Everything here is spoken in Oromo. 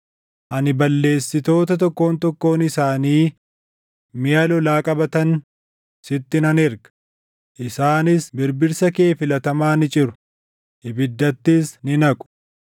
Ani balleessitoota tokkoon tokkoon isaanii miʼa lolaa qabatan, sitti nan erga; isaanis birbirsa kee filatamaa ni ciru; ibiddattis ni naqu.